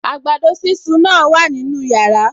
Àgbàdo sísun náà wà nínú yàrá